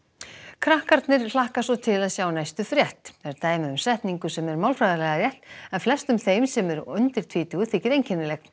krakkarnir hlakka svo til að sjá næstu frétt er dæmi um setningu sem er málfræðilega rétt en flestum þeim sem eru undir tvítugu þykir einkennileg